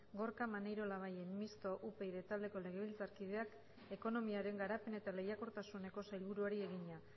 gorka maneiro labayen mistoa upyd taldeko legebiltzarkideak ekonomiaren garapen eta lehiakortasuneko sailburuari egina